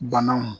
Banaw